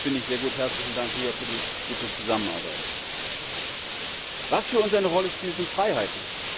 Das finde ich sehr gut, herzlichen Dank, Ria, für die gute Zusammenarbeit! Was für uns eine Rolle spielt, sind Freiheiten.